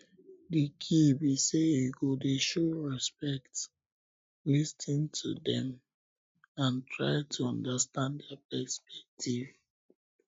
di key be say you go dey show respect lis ten to dem and try to understand dia perspective